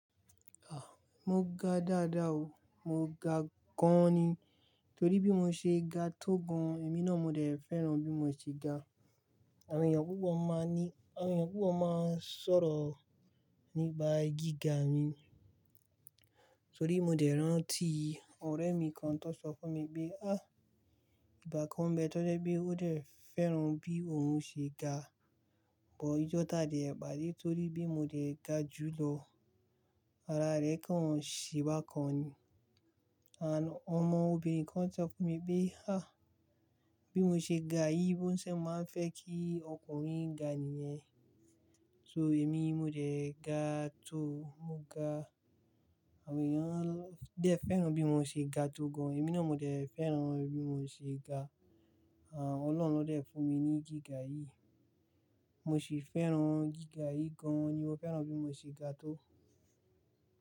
Ah, mo ga dáadáa o, mo ga gan ni. Torí bí mo ṣe ga tó gan, èmi náà mo dẹ̀ fẹ́ràn bí mo ṣe ga. Àwọn èèyàn púpọ̀ máa ní, àwọn èèyàn púpọ̀ máa ń sọ̀rọ̀ nípa gíga mi. Torí mo dẹ̀ rántí ọ̀rẹ́ mi kan tó sọ fún mi pé, "Á, ìgbà kan bẹ́ẹ̀ tó jẹ́ pé ó dẹ̀ fẹ́ràn bí òun ṣe ga, bọ́ ijọ́ta dẹ̀ bà dé torí bí mo dẹ̀ ga jù lọ. Ara rẹ kàn ṣé bá kàn ni. Àń, ọmọ obìnrin kan sọ fún mi pé, "Á, bí mo ṣe ga yìí ló ń ṣe máa ń fẹ́ kí ọkùnrin ga níyẹn." So èmi mo dẹ̀ ga tó, mo ga. Àwọn èèyàn dẹ̀ fẹ́ràn bí mo ṣe ga tó gan, èmi náà mo dẹ̀ fẹ́ràn bí mo ṣe ga. Àń, Ọlọ́run ló dẹ̀ fún mi ní gíga yìí. Mo sì fẹ́ràn gíga yìí gan ni. Mo fẹ́ràn bí mo ṣe ga tó.